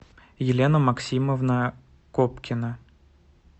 елена максимовна копкина